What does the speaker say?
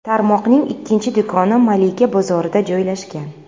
Tarmoqning ikkinchi do‘koni Malika bozorida joylashgan.